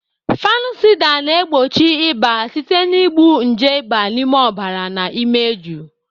Fanusida na-egbochi ịba site na igbu nje ịba n'ime ọbara na imeju.